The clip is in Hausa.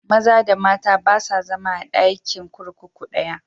Maza da mata ba sa zama a ɗakin kurkuku ɗaya.